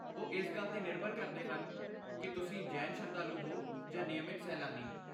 ਉਹ ਇਸ ਗੱਲ 'ਤੇ ਨਿਰਭਰ ਕਰਦੇ ਹਨ ਕਿ ਤੁਸੀਂ ਜੈਨ ਸ਼ਰਧਾਲੂ ਹੋ ਜਾਂ ਨਿਯਮਤ ਸੈਲਾਨੀ।